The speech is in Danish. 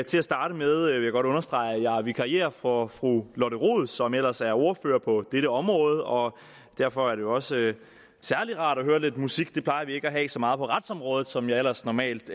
til at starte med vil jeg godt understrege at jeg vikarierer for fru lotte rod som ellers er ordfører på dette område og derfor er det også særlig rart at høre lidt musik det plejer vi ikke at have så meget af på retsområdet som jeg ellers normalt